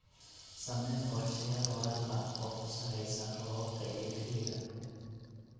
Samee qorshayaal waraab ah oo ku salaysan roobabka iyo xilliga.